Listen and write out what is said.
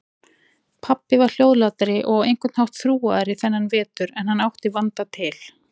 Pabbi var hljóðlátari og á einhvern hátt þrúgaðri þennan vetur en hann átti vanda til.